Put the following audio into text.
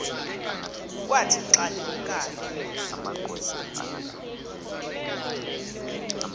kwathi xa limkayo